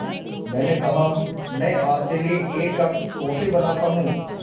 मैंने कहा मैं आपके लिए एक कप कॉफ़ी बनाता हूँ